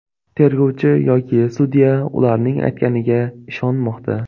Tergovchi yoki sudya ularning aytganiga ishonmoqda.